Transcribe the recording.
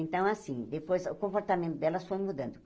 Então, assim, depois o comportamento delas foi mudando.